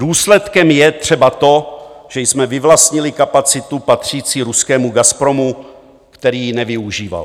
Důsledkem je třeba to, že jsme vyvlastnili kapacitu patřící ruskému Gazpromu, který ji nevyužíval.